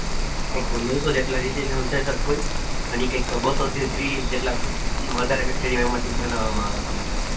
એક તો નવસો જેટલા હોય બસો તેત્રી જેટલા વધારે બનાવમાં આવેલા હોય.